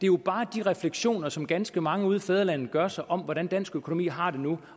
jo bare de refleksioner som ganske mange ude i fædrelandet gør sig om hvordan dansk økonomi har det nu